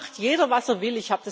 Hier macht jeder, was er will.